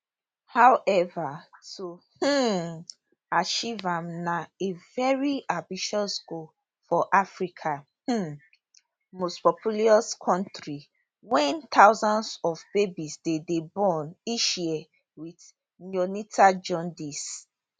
however to um achieve am na a very ambitious goal for africa um mostpopulous kontri wia thousands of babies dey dey born each year wit neonatal jaundice